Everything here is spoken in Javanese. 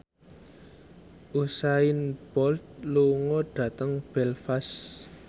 Usain Bolt lunga dhateng Belfast